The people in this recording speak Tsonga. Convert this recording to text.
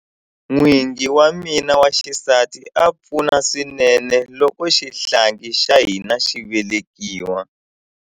N'wingi wa mina wa xisati a pfuna swinene loko xihlangi xa hina xi velekiwa.